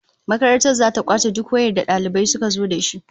Makaranta zata kwace duk wayar da dalibai suka zo dashi